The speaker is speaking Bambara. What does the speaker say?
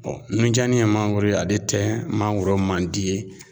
Bɔn nunjanni ye mangoro ye ale tɛ mangoro man di ye